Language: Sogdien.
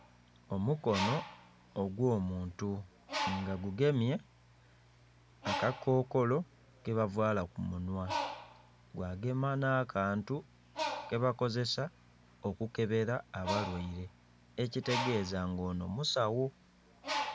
Omukono ogwo muntu nga gugemye akakokolo ke bavaala ku munhwa gwa gema na'kantu keba kozesa okukebera abalwaire ekitegeza nga ono musawo.